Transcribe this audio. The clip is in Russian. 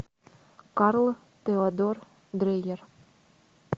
карл теодор дрейер